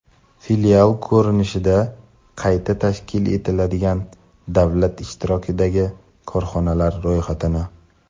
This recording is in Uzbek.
filial ko‘rinishida qayta tashkil etiladigan davlat ishtirokidagi korxonalar ro‘yxatini;.